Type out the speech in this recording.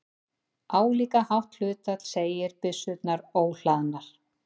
Álíka hátt hlutfall segir byssurnar óhlaðnar.